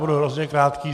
Budu hodně krátký.